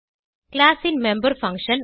class ன் member function